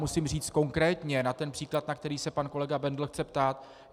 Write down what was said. Musím říct konkrétně na ten příklad, na který se pan kolega Bendl chce ptát.